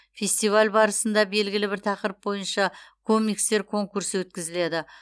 фестиваль барысында белгілі бір тақырып бойынша комикстер конкурсы өткізіледі